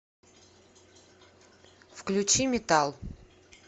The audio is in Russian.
включи метал